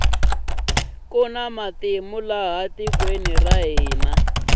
kuni matimu laha tikweni ra hina